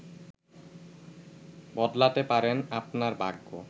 বদলাতে পারেন আপনার ভাগ্য